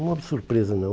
Uma surpresa não.